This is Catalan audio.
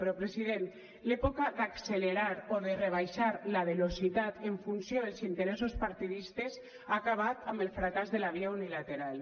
però president l’època d’accelerar o de rebaixar la velocitat en funció dels interessos partidistes ha acabat amb el fracàs de la via unilateral